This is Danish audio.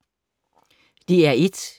DR1